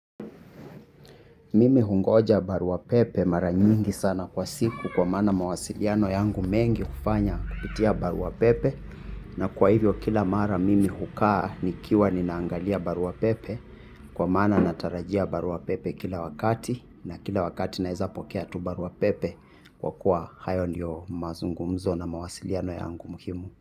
Mimi hungoja baruapepe mara nyingi sana kwa siku kwa mana mawasiliano yangu mengi kufanya kupitia baruapepe na kwa hivyo kila mara mimi hukaa nikiwa ninaangalia baruapepe kwa maana natarajia baruapepe kila wakati na kila wakati naweza pokea tu baruapepe kwa kuwa hayo ndiyo mazungumzo na mawasiliano yangu muhimu.